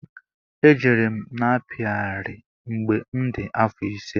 E jere m n'apiari mgbe m dị afọ ise.